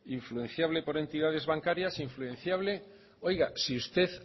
influenciable por entidades bancarias influenciable oiga si usted